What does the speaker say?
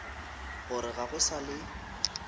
gore ga go sa le